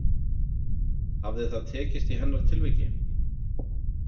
Hafði það tekist í hennar tilviki?